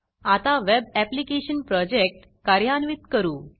आता web application project कार्यान्वित करू